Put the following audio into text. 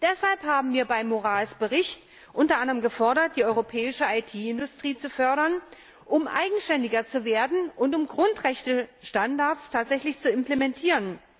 Deshalb haben wir beim Bericht Moraes unter anderem gefordert, die europäische IT Industrie zu fördern, um eigenständiger zu werden und um Grundrechtestandards tatsächlich zu implementieren.